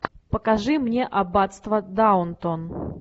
покажи мне аббатство даунтон